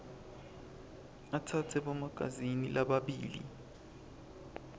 atsatse bomagazini lababili